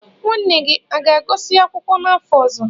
Nwanne gị ọ ga-agụsị akwụkwọ n'afọ ọzọ?